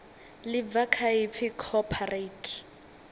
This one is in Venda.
ḽi bva kha ipfi cooperate